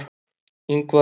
Ingvar